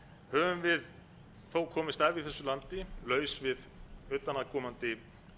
höfum við þó komist af í þessu landi laus við utanaðkomandi